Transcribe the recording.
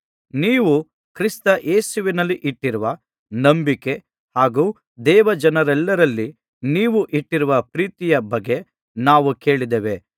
ನೀವು ಕ್ರಿಸ್ತ ಯೇಸುವಿನಲ್ಲಿ ಇಟ್ಟಿರುವ ನಂಬಿಕೆ ಹಾಗು ದೇವಜನರೆಲ್ಲರಲ್ಲಿ ನೀವು ಇಟ್ಟಿರುವ ಪ್ರೀತಿಯ ಬಗ್ಗೆ ನಾವು ಕೇಳಿದ್ದೇವೆ